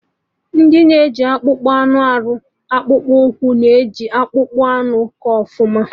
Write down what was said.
Ndị ji akpụkpọ anụ arụ akpụkpụ ụkwụ na-eji akpụkpọ anụ kọ ọfụma